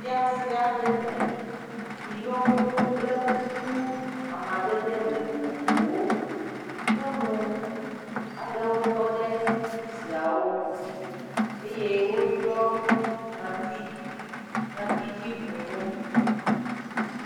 Fiase aɖe me si yɔ fũu kple kuku amadede vovovowo nyɔnu aɖewo tɔ ɖe kuku siawo ŋuti eye woɖiɔ ŋɔti..ŋɔtidzibunu.